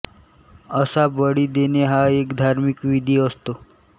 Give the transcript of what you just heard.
असा बळी देणे हा एक धार्मिक विधी असतो